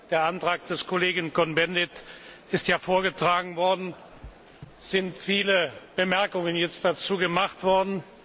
Der Antrag des Kollegen Cohn Bendit ist ja vorgetragen worden, und es sind viele Bemerkungen dazu gemacht worden.